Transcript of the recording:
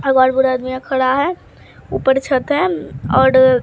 और बहुत बूढ़ा आदमी एक खड़ा है ऊपर छत है ओड़ --